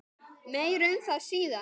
Meir um það síðar.